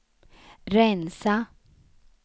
rensa